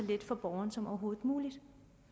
for borgeren som overhovedet muligt